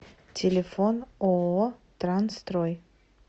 телефон ооо трансстрой